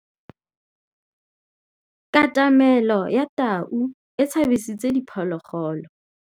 Katamêlô ya tau e tshabisitse diphôlôgôlô.